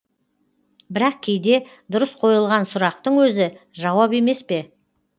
бірақ кейде дұрыс қойылған сұрақтың өзі жауап емес пе